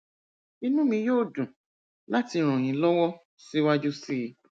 inú mi yóò dùn láti ràn yín lọwọ síwájú sí i